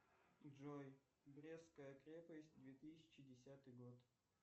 джой брестская крепость две тысячи десятый год